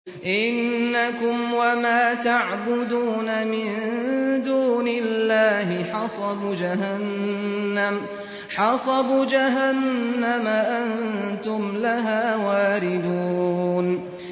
إِنَّكُمْ وَمَا تَعْبُدُونَ مِن دُونِ اللَّهِ حَصَبُ جَهَنَّمَ أَنتُمْ لَهَا وَارِدُونَ